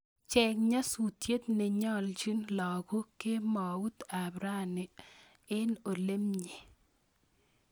Cheng nyasutiet nenyaljin lagok kemout ab rani en olamenye